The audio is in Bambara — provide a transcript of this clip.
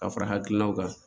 Ka fara hakilinaw kan